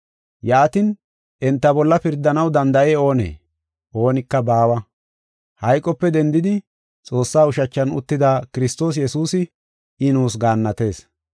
Yaatin, enta bolla pirdanaw danda7ey oonee? Oonika baawa. Hayqope dendidi Xoossaa ushachan uttida, Kiristoos Yesuusi, I nuus gaannatees.